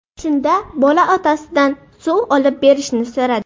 Shunda bola otasidan suv olib berishni so‘radi.